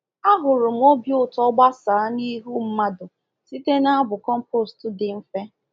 Ahụrụ m obi ụtọ gbasaa n’ihu mmadụ site n’abụ compost dị mfe.